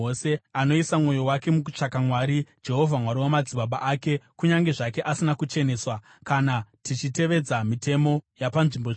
anoisa mwoyo wake mukutsvaka Mwari, Jehovha Mwari wamadzibaba ake kunyange zvake asina kucheneswa kana tichitevedza mitemo yapanzvimbo tsvene.”